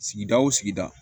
Sigida o sigida